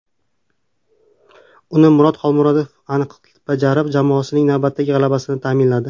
Uni Murod Xolmuhammedov aniq bajarib, jamoasining navbatdagi g‘alabasini ta’minladi.